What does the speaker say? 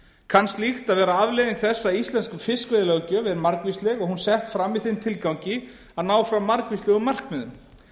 kann slíkt að vera afleiðing þess að íslensk fiskveiðilöggjöf er margvísleg og hún sett fram í þeim tilgangi að ná fram margvíslegum markmiðum